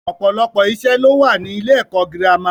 Ọ̀pọ̀lọpọ̀ ìṣe ló wà ní ilé-ẹ̀kọ́ girama.